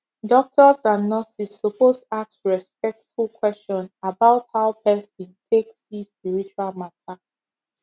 doctors and nurses suppose ask respectful question about how person take see spiritual matter